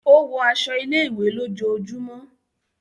O wọ aṣọ ilé-ìwé lójoojúmó.